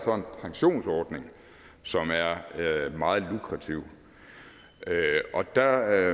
pensionsordning som er meget lukrativ der